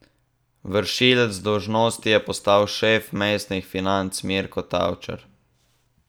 Vršilec dolžnosti je postal šef mestnih financ Mirko Tavčar.